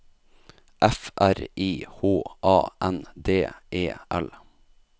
F R I H A N D E L